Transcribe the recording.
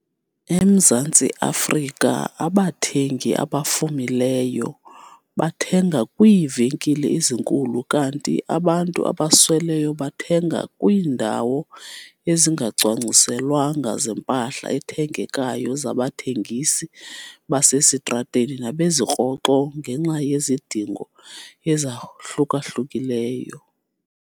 EMzantsi Afrika abathengi abafumileyo bathenga kwiivenkile ezinkulu kanti abantu abasweleyo bathenga kwiindawo ezingacwangciselwanga 'zempahla ethengekayo' zabathengisi basesitratweni nabezirhoxo ngenxa yezidingo ezahluka-hlukileyo.